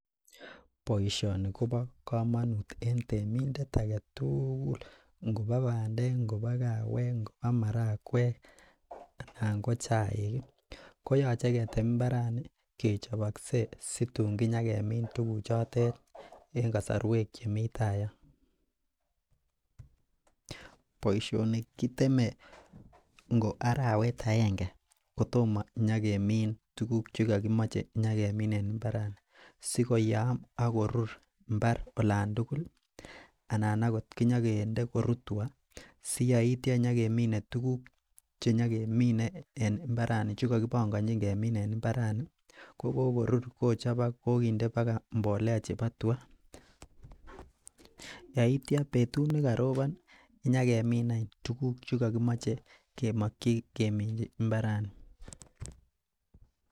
boishoni kobo komonut en temindeet agetuugul, ngobo bandeek ngobo kaweek ak marakweek anan ko chaik iih, ko yoche ketem imbarani kechobokse situn nyagemiin tuguk chototet en kasorweek chemii taa yon, boishoni kiteme ngo araweet aenge kotomo nyagemin tuguk chegogimoche nyagemin en imbarani sigoyaam ak korur imbaar olantugul anan ooh nyoginde koruu tuga siyeityo, si yeityo nyogemine tuguuk chegogibongochin kemin en imbarani kogogorur kochobochok kogoginde bagai imbolea chebo tugaa, yeityo betut negarobon iih nyagemin any tuguk chegogimoche kemokyi kemin imbarani